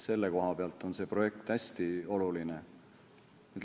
Selle koha pealt on see projekt hästi oluline.